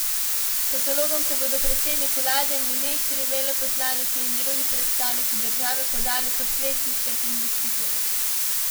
S katalogom se bodo predsednik vlade, ministri, veleposlaniki in drugi predstavniki države podali po svetu, iskat investitorje.